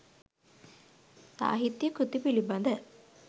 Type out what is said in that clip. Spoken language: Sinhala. සාහිත්‍ය කෘති පිළිබඳ